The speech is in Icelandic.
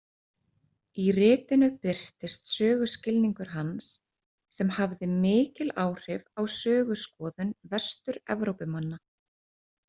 Í ritinu birtist söguskilningur hans sem hafði mikil áhrif á söguskoðun Vestur-Evrópumanna.